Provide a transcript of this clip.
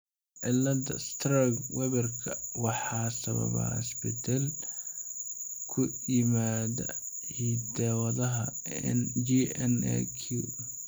Cillada Sturge Weberka waxaa sababa isbeddel ku yimaadda hidda-wadaha GNAQ.